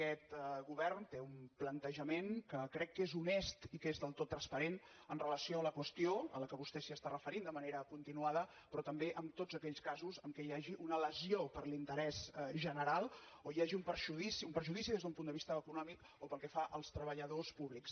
aquest govern té un plantejament que crec que és honest i que és del tot transparent amb relació a la qüestió a la que vostè s’està referint de manera continuada però també en tots aquells casos en què hi hagi una lesió per l’interès general o hi hagi un perjudici des d’un punt de vista econòmic o pel que fa als treballadors públics